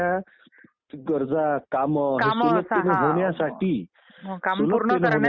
म्हणजे सर पारदर्शक म्हणजे नेमकं काय? म्हणजे नेमकं कश्या प्रकारची?